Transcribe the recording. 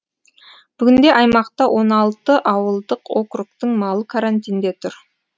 бүгінде аймақта он алты ауылдық округтің малы карантинде тұр